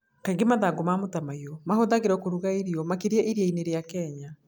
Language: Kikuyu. Kaingĩ mathangũ ma mĩtamaiyũ mahũthagĩrũo kũruga irio, makĩria iria-inĩ rĩa Kenya.